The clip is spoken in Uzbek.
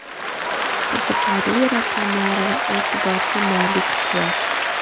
Qiziqarli raqamlar va e’tiborga molik qiyos.